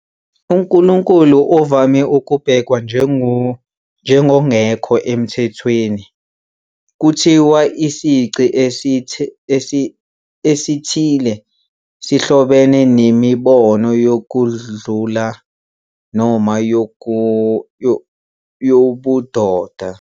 UNkulunkulu uvame ukubhekwa njengongekho emthethweni, kuthiwa isici esithile sihlobene nemibono yokudlula noma yobudoda.